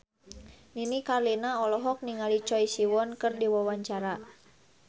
Nini Carlina olohok ningali Choi Siwon keur diwawancara